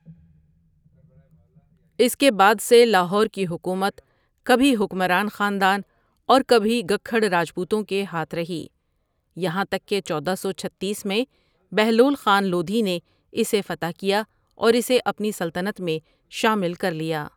اس کے بعد سے لاہور کی حکومت کبھی حکمران خاندان اور کبھی گکحڑ راجپوتوں کے ہاتھ رہی یہاں تک کہ چودہ سوچھتیس میں بہلول خان لودھی نے اسے فتح کیا اور اسے اپنی سلطنت میں شامل کر لیا ۔